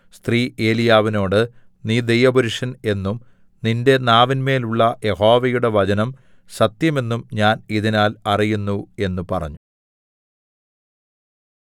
സ്ത്രീ ഏലീയാവിനോട് നീ ദൈവപുരുഷൻ എന്നും നിന്റെ നാവിന്മേലുള്ള യഹോവയുടെ വചനം സത്യമെന്നും ഞാൻ ഇതിനാൽ അറിയുന്നു എന്ന് പറഞ്ഞു